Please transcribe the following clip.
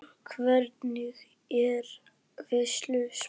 Jörundur, hvernig er veðurspáin?